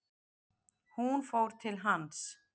Hún fór til hans.